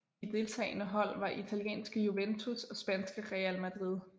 De deltagende hold var italienske Juventus og spanske Real Madrid